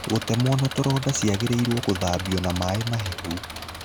Gũtemwo na tũronda ciangĩrĩirwo cithambio na maĩ mahehu.